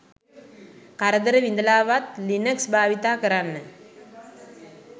කරදර විඳලාවත් ලිනක්ස් භාවිතා කරන්න